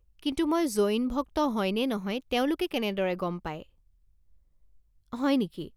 কিন্তু মই জৈন ভক্ত হয় নে নহয় তেওঁলোকে কেনেদৰে গম পায়? হয় নেকি